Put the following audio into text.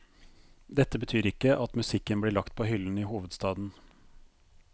Dette betyr ikke at musikken blir lagt på hyllen i hovedstaden.